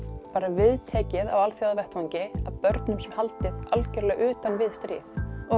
viðtekið á alþjóðavettvangi að börnum sé haldið alfarið utan við stríð